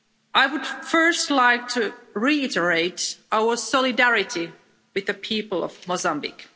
I would first like to reiterate our solidarity with the people of Mozambique.